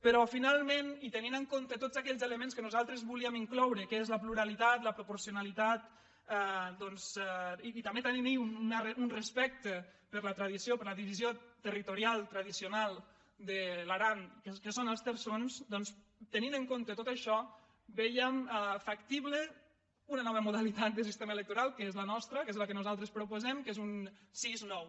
però finalment i tenint en compte tots aquells elements que nosaltres volíem in·cloure que són la pluralitat la proporcionalitat doncs i també tenint un respecte per la tradició per la divisió territorial tradicional de l’aran que són els terçons doncs tenint en compte tot això vèiem factible una nova modalitat de sistema electoral que és la nostra que és la que nosaltres proposem que és un sis·nou